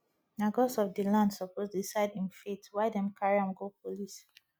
na gods of di land suppose decide im fate why dem carry am go police